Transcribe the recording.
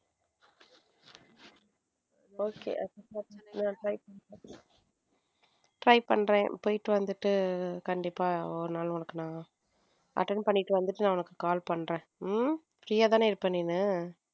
Okay நான் try பண்ணி பாக்குறேன try பண்றேன் போயிட்டு வந்துட்டு கண்டிப்பா ஒரு நாள் உனக்கு நான attend பண்ணிட்டு வந்துட்டு உனக்கு நான் call பண்றேன் உம் free யா தானே இருப்பேன் நீனு.